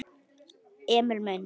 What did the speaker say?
Emil minn!